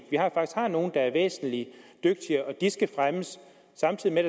at har nogle der er væsentlig dygtigere og at de skal fremmes samtidig med